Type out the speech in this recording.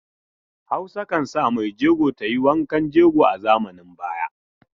Hausa kan sa maijego ta yi wankan jego a zamanin baya.